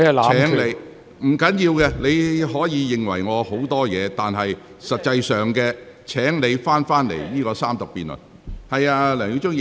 沒關係，你可以對我有許多意見，但現在請你返回這項辯論的議題。